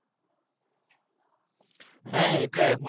হ্যাঁ এটা এখন